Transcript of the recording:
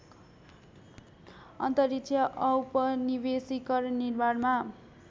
अन्तरिक्ष औपनिवेशीकरण निर्माणमा